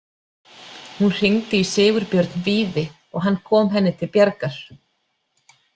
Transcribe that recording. Hún hringdi í Sigurbjörn Víði og hann kom henni til bjargar.